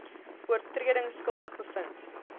oortredings skuldig bevind